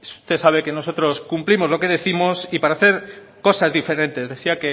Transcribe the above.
usted sabe que nosotros cumplimos lo que décimos y para hacer cosas diferentes decía